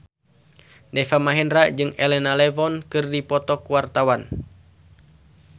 Deva Mahendra jeung Elena Levon keur dipoto ku wartawan